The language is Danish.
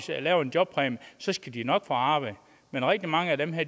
laver en jobpræmie skal de nok få arbejde men rigtig mange af dem har